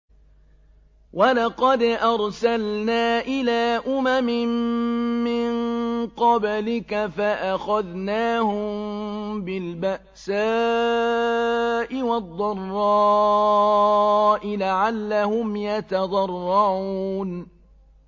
وَلَقَدْ أَرْسَلْنَا إِلَىٰ أُمَمٍ مِّن قَبْلِكَ فَأَخَذْنَاهُم بِالْبَأْسَاءِ وَالضَّرَّاءِ لَعَلَّهُمْ يَتَضَرَّعُونَ